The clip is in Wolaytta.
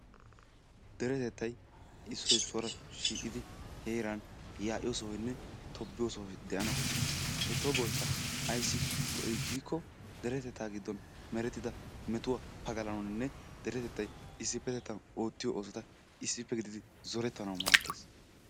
Deretettay issoy issuwara shiiqidi yaa'iyo sohay heeran tobbiyo sohoy de'ana koshshees. He toboykka ayssi go'ii giikko deretettaa giddon merettida metuwa pagalanaayyonne deretettay issippe oottiyo oosota issippe gididi zorettanaayyo maaddees.